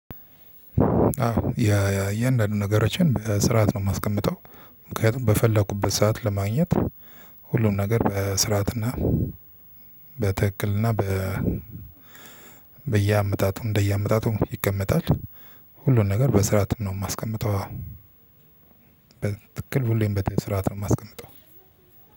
አዎ ያ ያ የእንደአንዱ ነገሮችን በስርዓት ነው የማስቀምጠው። ምክንያቱም በፈለኩበት ሰዓት ለማግኘት ሁሉን ነገር በስርዓትና በትክክልና በየአመታቱ እንደየአመታቱ ይቀመጣል። ሁሉን ነገር በስርዓትም ነው የማስቀምጠው። ትክክል ሁሌም በስርዓት ነው የማስቀምጠው።